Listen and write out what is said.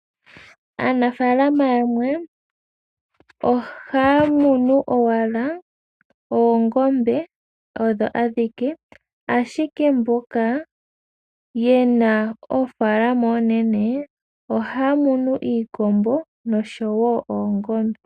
Aanafalama yamwe, ohaya muna owala oongombe odho adhike, ashike mboka yena oofalama oonene, ohaya munu iikombo noshowo oongombe.